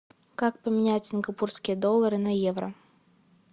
как поменять сингапурские доллары на евро